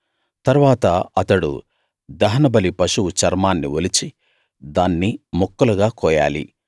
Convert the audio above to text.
తరువాత అతడు దహనబలి పశువు చర్మాన్ని ఒలిచి దాన్ని ముక్కలుగా కోయాలి